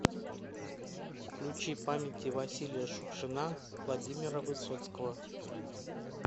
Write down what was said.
включи памяти василия шукшина владимира высоцкого